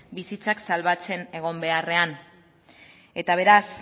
bizitzak salbatzen egon beharrean eta beraz